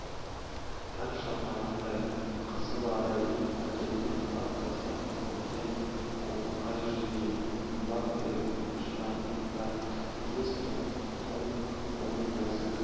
таң шапағындай қызыл арай мәкеннің тап-таза біткен қоңырқай жүзіне лап беріп шығатын да тез толқып оның нәзік